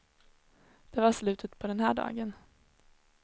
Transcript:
Det var slutet på den här dagen.